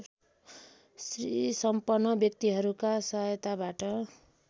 श्रीसम्पन्न व्यक्तिहरूका सहायताबाट